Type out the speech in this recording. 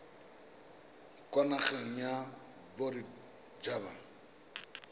kwa nageng ya bodit haba